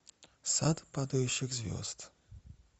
сад падающих звезд